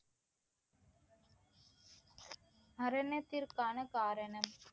மரணத்திற்கான காரணம்